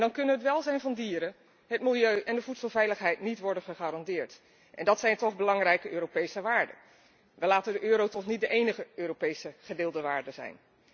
Dan kunnen het welzijn van dieren, het milieu en de voedselveiligheid niet worden gegarandeerd en dat zijn toch belangrijke Europese waarden. We laten de euro toch niet de enige Europese gedeelde waarde zijn?